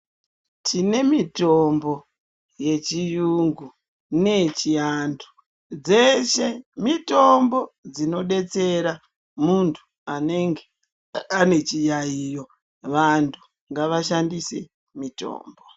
Tine mitombo ye chiyungu neye chiantu dzeshe mitombo dzino detsera muntu anenge ane chiyayiyo vantu ngava shandise mitombo.